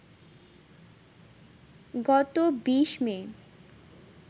গত ২০ মে